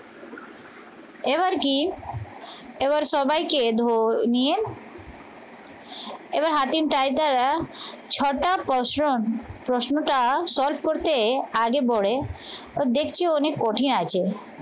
এবার কি এবার সবাইকে ধোয় নিয়ে এবার হাতির টাইটারা ছটা প্রশ্ন প্রশ্নটা solve করতে আগে পরে তো দেখছি অনেক কঠিন আছে